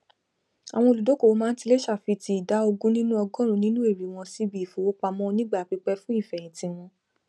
àwọn olùdókòwò máa n tilẹ ṣàfitì ìdá ogún nínú ọgọrùún nínú èrè wọn síbi ìfowópamọ onígbà pípẹ fún ìfẹhìntì wọn